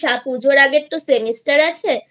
পুজোর আগে Semester আছে